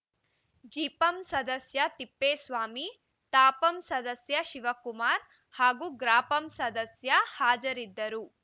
ಜಿಪಂ ಸದಸ್ಯ ತಿಪ್ಪೇಸ್ವಾಮಿ ತಾಪಂ ಸದಸ್ಯ ಶಿವಕುಮಾರ್‌ ಹಾಗೂ ಗ್ರಾಪಂ ಸದಸ್ಯ ಹಾಜರಿದ್ದರು